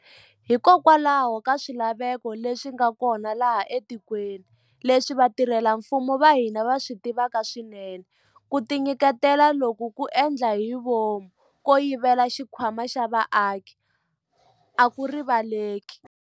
Hikokwalaho ka swilaveko leswi nga kona laha etikweni, leswi vatirhela mfumo va hina va swi tivaka swinene, ku tinyiketela loku ko endla hi vomu ko yivela xikhwama xa vaaki a ku rivaleleki.